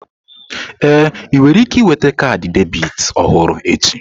Ee, ị nwere ike nweta kaadị debit ọhụrụ echi.